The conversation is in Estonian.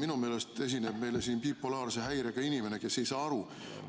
Minu meelest esineb meile siin bipolaarse häirega inimene, kes ei saa aru,